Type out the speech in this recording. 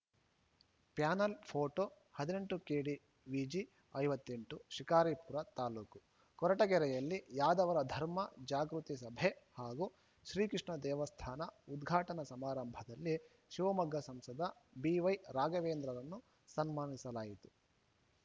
panel photo ಹದಿನೆಂಟು ಕೆಡಿವಿಜಿ ಐವತ್ತ್ ಎಂಟು ಶಿಕಾರಿಪುರ ತಾಲೂಕು ಕೊರಟಗೆರೆಯಲ್ಲಿ ಯಾದವರ ಧರ್ಮ ಜಾಗೃತಿ ಸಭೆ ಹಾಗು ಶ್ರೀ ಕೃಷ್ಣ ದೇವಸ್ಥಾನ ಉದ್ಘಾಟನಾ ಸಮಾರಂಭದಲ್ಲಿ ಶಿವಮೊಗ್ಗ ಸಂಸದ ಬಿವೈರಾಘವೇಂದ್ರರನ್ನು ಸನ್ಮಾನಿಸಲಾಯಿತು